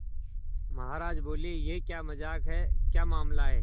महाराज बोले यह क्या मजाक है क्या मामला है